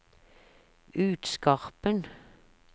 Utskarpen